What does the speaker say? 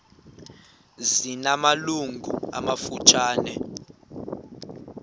zina malungu amafutshane